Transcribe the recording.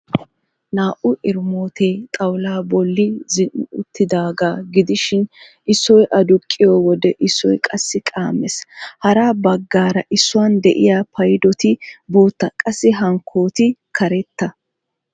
Naa"u erimootee xawulaa bolli zin"i uttidaagaa gidishin issoy aduqqiyo wode issoy qassi qaammees. Hara baggaara issuwan de'iya paydoti bootta qassi hankkooti karetta.